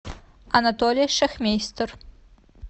анатолий шахмейстер